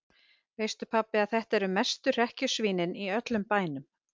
Veistu pabbi að þetta eru mestu hrekkjusvínin í öllum bænum.